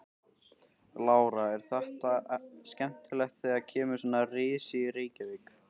Lára: Er þetta skemmtilegt þegar kemur svona risi í Reykjavík?